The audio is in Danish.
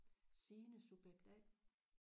Signe subjekt A